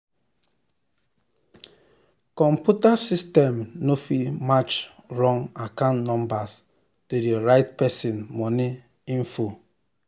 computer system no fit match wrong account numbers to the right person money info.